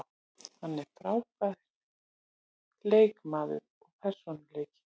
Hann er frábær leikmaður og persónuleiki.